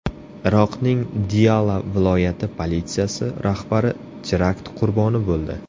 Iroqning Diyala viloyati politsiyasi rahbari terakt qurboni bo‘ldi.